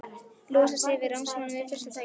Losa sig við ráðsmanninn við fyrsta tækifæri.